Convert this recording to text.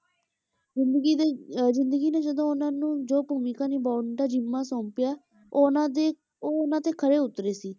ਜ਼ਿੰਦਗੀ ਦੇ ਅਹ ਜ਼ਿੰਦਗੀ ਨੇ ਜਦੋਂ ਉਹਨਾਂ ਨੂੰ ਜੋ ਭੂਮਿਕਾ ਨਿਭਾਉਣ ਦਾ ਜ਼ਿੰਮਾ ਸੋਂਪਿਆ ਉਹ ਉਹਨਾਂ ਦੇ, ਉਹ ਉਹਨਾਂ ਤੇ ਖਰੇ ਉੱਤਰੇ ਸੀ